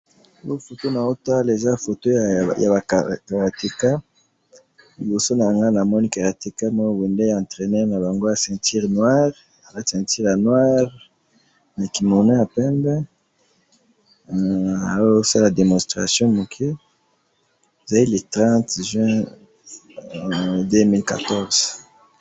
Na moni karateka na centure ya noire aza kosala demonstration liboso ya ba yekoli.